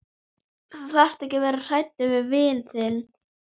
Þú þarft ekki að vera hræddur við vin þinn.